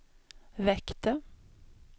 väckte